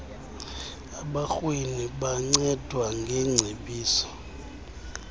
abarhweni bancedwa ngeengcebiso